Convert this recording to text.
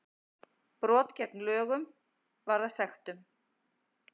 Brot gegn lögunum varða sektum